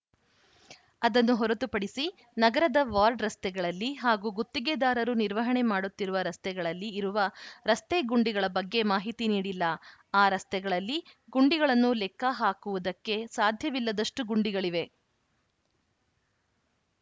ಅದನ್ನು ಹೊರತು ಪಡಿಸಿ ನಗರದ ವಾರ್ಡ್‌ ರಸ್ತೆಗಳಲ್ಲಿ ಹಾಗೂ ಗುತ್ತಿಗೆದಾರರು ನಿರ್ವಹಣೆ ಮಾಡುತ್ತಿರುವ ರಸ್ತೆಗಳಲ್ಲಿ ಇರುವ ರಸ್ತೆ ಗುಂಡಿಗಳ ಬಗ್ಗೆ ಮಾಹಿತಿ ನೀಡಿಲ್ಲ ಆ ರಸ್ತೆಗಳಲ್ಲಿ ಗುಂಡಿಗಳನ್ನು ಲೆಕ್ಕ ಹಾಕುವುದಕ್ಕೆ ಸಾಧ್ಯವಿಲ್ಲದಷ್ಟುಗುಂಡಿಗಳಿವೆ